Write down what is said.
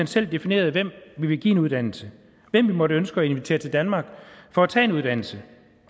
selv definerede hvem vi ville give en uddannelse hvem vi måtte ønske at invitere til danmark for at tage en uddannelse